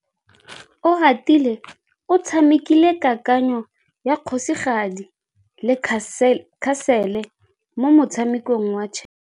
Oratile o tshamekile kananyô ya kgosigadi le khasêlê mo motshamekong wa chess.